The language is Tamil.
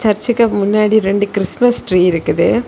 ரெண்டு கிறிஸ்மஸ் ட்ரீ இருக்குது.